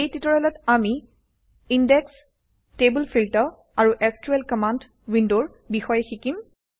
এই টিউটৰিয়েলত আমি ইনডেক্সেচ টেবুল ফিল্টাৰ আৰু এছক্যুএল কমাণ্ড উইণ্ডৰ বিষয়ে শিকিম